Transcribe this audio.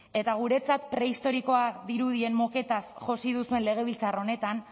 eta guretzat prehistoriko dirudien moketaz josi duzuen legebiltzar honetan